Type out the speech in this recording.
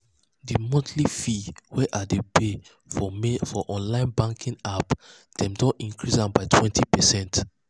the um monthly fees wey i dey pay for um my online banking app dem don run increase am by 20%. um